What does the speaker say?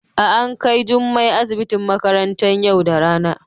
a An Kai jummai asibitin makarantan yau da rana.